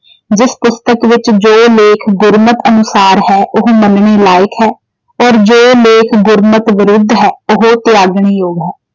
ਜਿਸ ਪੁਸਤਕ ਵਿੱਚ ਜੋ ਲੇਖ ਗੁਰਮਤ ਅਨੁਸਾਰ ਹੈ, ਉਹ ਮੰਨਣੇ ਲਾਇਕ ਹੈ ਔਰ ਜੋ ਲੇਖ ਗੁਰਮਤ ਵਿਰੁੱਧ ਹੈ ਉਹ ਤਿਆਗਣ ਯੋਗ ਹੈ।